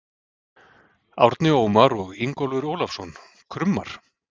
Árni Ómar og Ingólfur Ólafsson: Krummar?